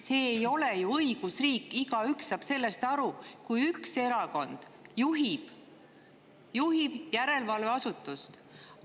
See ei ole ju õigusriik – igaüks saab sellest aru –, kui üks erakond juhib järelevalveasutust.